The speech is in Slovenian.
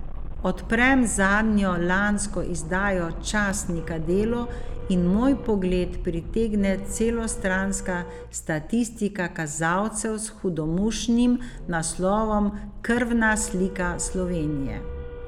Odprem zadnjo lansko izdajo časnika Delo in moj pogled pritegne celostranska statistika kazalcev s hudomušnim naslovom Krvna slika Slovenije.